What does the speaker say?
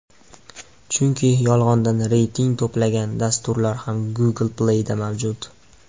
Chunki, yolg‘ondan reyting to‘plagan dasturlar ham Google Play’da mavjud.